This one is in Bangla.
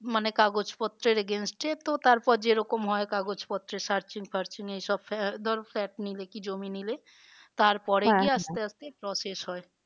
মানে কাগজপত্রের agents এ তো তারপর যে রকম হয় কাগজ পত্রে search ফারৰ্চিং এই সব ধরো flat নিলে কি জমি নিলে তারপরে আস্তে আস্তে process হয়।